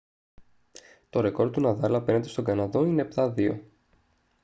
το ρεκόρ του ναδάλ απέναντι στον καναδό είναι 7-2